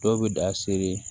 Dɔw bɛ da sere